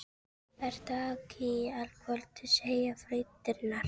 Vertu ekki í allt kvöld að segja fréttirnar.